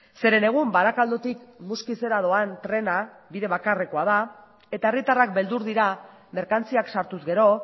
zeren egun barakaldotik muskizera doan trena bide bakarrekoa da eta herritarrak beldur dira merkantziak sartuz gero